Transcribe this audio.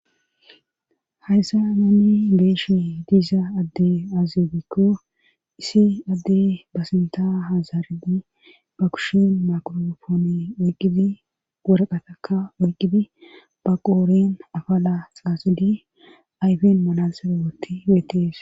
Hayssa nanni beeshe diiza adde aazebikko isi adde basinta hazaaridi ba kushin makorofoone oyqqibi woraqa taka woyqqibi ba qooren afala xaasidi ayfen malansera woti weetees